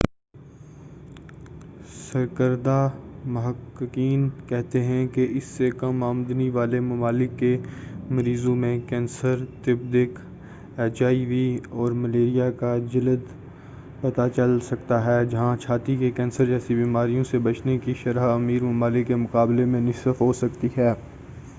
سرکردہ محققین کہتے ہیں کہ اس سے کم آمدنی والے ممالک کے مریضوں میں کینسر تپ و دق ایچ آئی وی اور ملیریا کا جلد پتہ چل سکتا ہے جہاں چھاتی کے کینسر جیسی بیماریوں سے بچنے کی شرح امیر ممالک کی مقابلے میں نصف ہو سکتی ہے